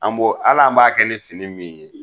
An bo al'an b'a kɛ ni fini min ye